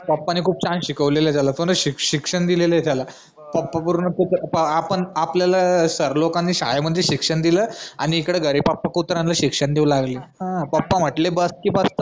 पप्पानी खुपम छान शिकवलंय त्याला पूर्ण शिक शिक्षण दिलेलंय त्याला पप्पा बरोबर आपल्याला सर लोकांनी शाळे मादी शिक्षण दिल आणि इथं घरी पप्पा कुत्र्यांना शिक्षण देऊ लागले हा पप्पा म्हंनटले बस